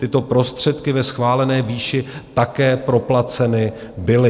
Tyto prostředky ve schválené výši také proplaceny byly.